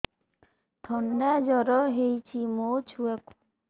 ଥଣ୍ଡା ଜର ହେଇଚି ମୋ ଛୁଆକୁ